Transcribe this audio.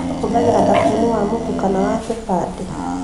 ũhũthagĩra thabuni wa mũtu kana wa kĩbandĩ